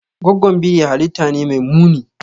Goggon biri halitta ne mai muni.